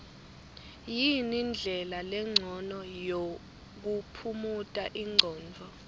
yini ndlela lencono yokuphumuta ingcondvo